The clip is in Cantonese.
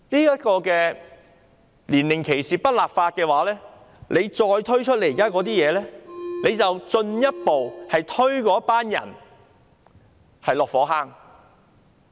如果不就年齡歧視立法，政府再推出這些政策，便是進一步把那些人推落火坑。